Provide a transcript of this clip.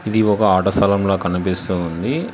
ఇది ఒక ఆట స్థలం లా కనిపిస్తూ ఉంది.